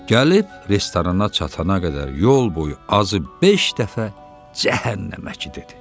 Gəlib restorana çatana qədər yol boyu azı beş dəfə cəhənnəməki dedi.